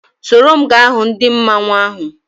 Soro m ga hụ ndị mmanwu ahu!